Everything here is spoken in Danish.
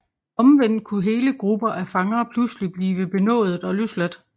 Omvendt kunne hele grupper af fanger pludselig blive benådet og løsladt